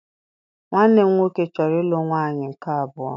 Nwanne m nwoke chọrọ ịlụ nwaanyị nke abụọ